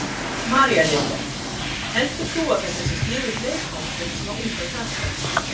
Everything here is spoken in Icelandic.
María Lilja: Heldur þú að þetta sé sniðugt leikfang fyrir svona unga krakka?